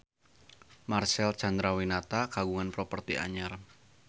Marcel Chandrawinata kagungan properti anyar